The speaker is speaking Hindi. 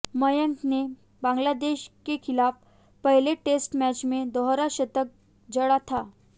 मयंक ने बांग्लादेश के खिलाफ पहले टेस्ट मैच में दोहरा शतक जड़ा था